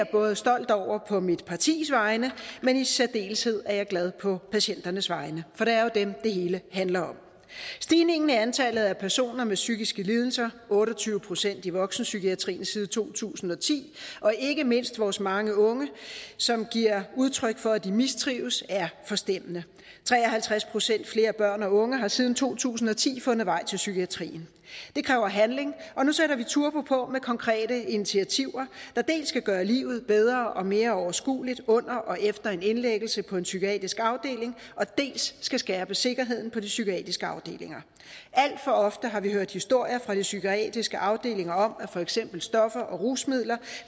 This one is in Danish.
både stolt over på mit partis vegne men i særdeleshed glad på patienternes vegne for det er jo dem det hele handler om stigningen i antallet af personer med psykiske lidelser otte og tyve procent i voksenpsykiatrien siden to tusind og ti og ikke mindst vores mange unge som giver udtryk for at de mistrives er forstemmende tre og halvtreds procent flere børn og unge har siden to tusind og ti fundet vej til psykiatrien det kræver handling og nu sætter vi turbo på med konkrete initiativer der dels skal gøre livet bedre og mere overskueligt under og efter en indlæggelse på en psykiatrisk afdeling dels skal skærpe sikkerheden på de psykiatriske afdelinger alt for ofte har vi hørt historier fra de psykiatriske afdelinger om at for eksempel stoffer og rusmidler